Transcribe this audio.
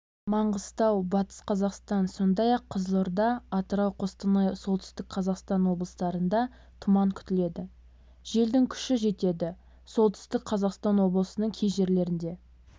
маңғыстау батыс қазақстан сондай-ақ қызылорда атырау қостанай солтүстік қазақстан облыстарында тұман күтіледі желдің күші с-қа жетеді солтүстік қазақстан облысының кей жерлерінде